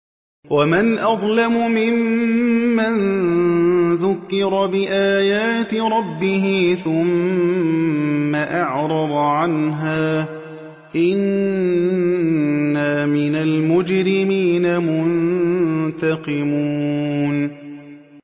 وَمَنْ أَظْلَمُ مِمَّن ذُكِّرَ بِآيَاتِ رَبِّهِ ثُمَّ أَعْرَضَ عَنْهَا ۚ إِنَّا مِنَ الْمُجْرِمِينَ مُنتَقِمُونَ